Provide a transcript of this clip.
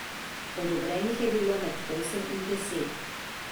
Odobrenih je bilo med osem in deset.